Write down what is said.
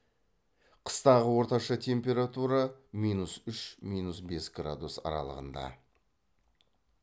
қыстағы орташа температура минус үш минус бес градус аралығында